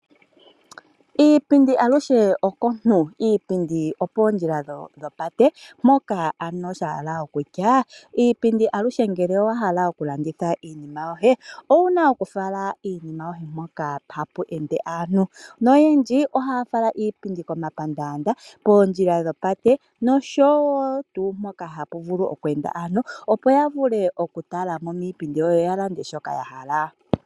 Iipindi aluhe okontu, iipindi opoo ndjila dhopate moka ano shala okutya iipindi aluhe ngele owahala okulanditha iinima yohe owuna kufala iinima yoye mpoka tapu ende aantu noyendji ohafala iipindi komapandanda, pondjila dhopate noshowo kehe mpoka hapu vulu okweenda aantu opo yavule okutalamo miipindi yoye yo yalande shoka yahala.